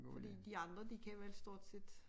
Fordi de andre de kan vel stort set